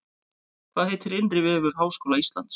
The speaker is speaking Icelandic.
Hvað heitir innri vefur Háskóla Íslands?